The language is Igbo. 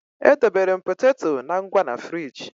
Edobere m poteto na ngwa na fịrij